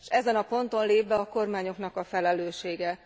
És ezen a ponton lép be a kormányoknak a felelőssége.